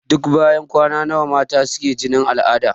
Duk banyan kwana nawa mata suke jinin al'ada?